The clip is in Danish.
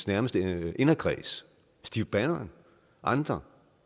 nærmeste inderkreds steve bannon og andre